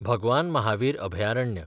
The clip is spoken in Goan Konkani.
भगवान महावीर अभयारण्य